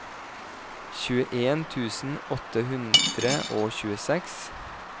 tjueen tusen åtte hundre og tjueseks